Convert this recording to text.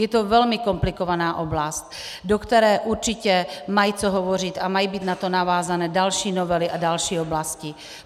Je to velmi komplikovaná oblast, do které určitě mají co hovořit a mají být na to navázány další novely a další oblasti.